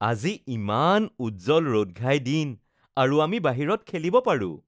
আজি ইমান উজ্জ্বল ৰ’দঘাই দিন আৰু আমি বাহিৰত খেলিব পাৰো